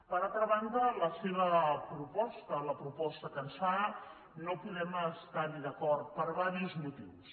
per altra banda la seva proposta la proposta que ens fa no podem estar hi d’acord per diversos motius